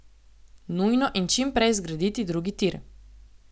Nujno in čim prej zgraditi drugi tir.